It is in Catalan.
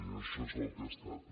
i això és el que he estat